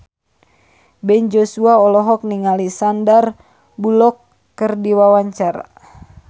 Ben Joshua olohok ningali Sandar Bullock keur diwawancara